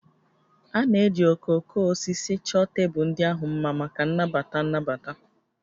A na-eji okooko osisi chọọ tebụl ndị ahụ mma maka nnabata nnabata